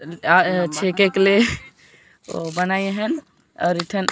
अ छेकेक ले बनाय हन और एठन --